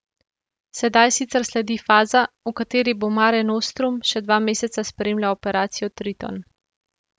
Sedaj sicer sledi faza, v kateri bo Mare Nostrum še dva meseca spremljal operacijo Triton.